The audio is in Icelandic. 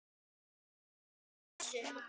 taka eftir þessu